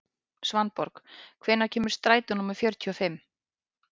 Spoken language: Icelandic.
Svanborg, hvenær kemur strætó númer fjörutíu og fimm?